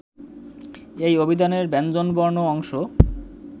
এই অভিধানের ব্যঞ্জনবর্ণ অংশ